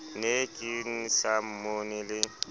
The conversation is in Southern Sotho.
ne ke sa mmone le